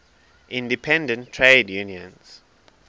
independent trade unions